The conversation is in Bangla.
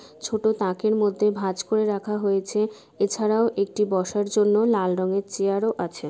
ছোট তাকের মধ্যে ভাঁজ করে রাখা হয়েছে এছাড়াও একটি বসার জন্য লাল রঙের চেয়ার ওঃ আছে।